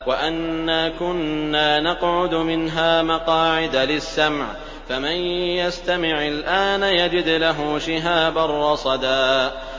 وَأَنَّا كُنَّا نَقْعُدُ مِنْهَا مَقَاعِدَ لِلسَّمْعِ ۖ فَمَن يَسْتَمِعِ الْآنَ يَجِدْ لَهُ شِهَابًا رَّصَدًا